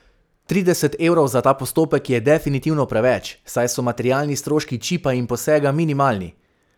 Trideset evrov za ta postopek je definitivno preveč, saj so materialni stroški čipa in posega minimalni.